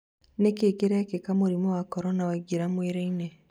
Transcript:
Nikĩĩ kirĩkĩka mũrimũ wa Korona waingĩra mwĩrĩ-inĩ?